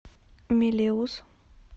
мелеуз